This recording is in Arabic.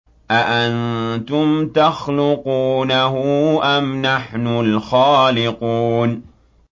أَأَنتُمْ تَخْلُقُونَهُ أَمْ نَحْنُ الْخَالِقُونَ